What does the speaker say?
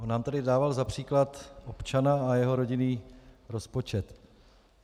On nám tady dával za příklad občana a jeho rodinný rozpočet.